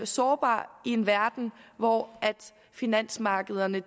sårbar i en verden hvor finansmarkederne